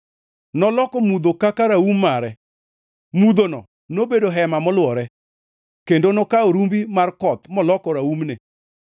Noloko mudho kaka raum mare, mudhono nobedo hema molwore, kendo nokawo rumbi mar koth moloko raumne.